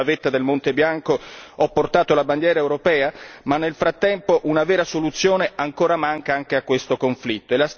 Io sulla vetta del Monte Bianco ho portato la bandiera europea, ma nel frattempo una vera soluzione ancora manca anche a questo conflitto.